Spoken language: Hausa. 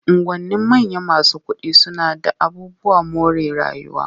Unguwannin manyan masu kuɗi suna d aabubuwan more rayuwa.